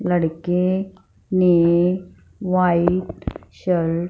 लड़के ने white shirt --